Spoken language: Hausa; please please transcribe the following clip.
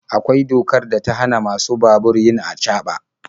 Akwai dokar da ta hana masu babur yin acaba.